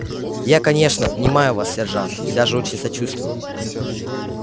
я конечно понимаю вас сержант и даже очень сочувствую